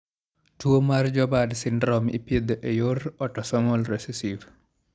Tuwo mar Joubert syndrome ipidho e yor otosomal recessive.